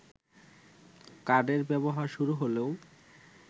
কার্ডের ব্যবহার শুরু হলেও